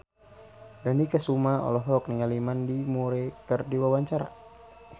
Dony Kesuma olohok ningali Mandy Moore keur diwawancara